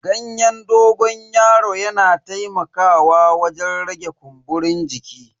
Ganyen dogon yaron yana taimakawa wajen rage kumburin jiki.